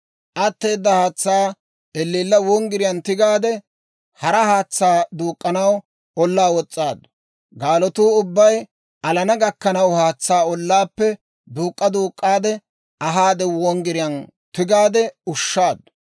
Atteedda haatsaa elleella wonggiriyaan tigaade, hara haatsaa duuk'k'anaw ollaa wos's'aaddu; gaalatuu ubbay alana gakkanaw, haatsaa ollaappe duuk'k'a duuk'k'aade ahaade wonggiriyaan tigaade ushshaaddu.